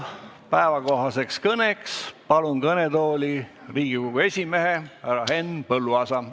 Päevakohaseks kõneks palun kõnetooli Riigikogu esimehe härra Henn Põlluaasa.